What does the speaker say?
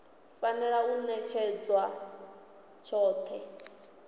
fanela u ṅetshedzwa tshifhinga tshoṱhe